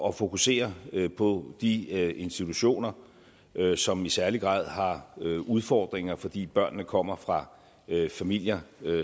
at fokusere på de institutioner som i særlig grad har udfordringer fordi børnene kommer fra familier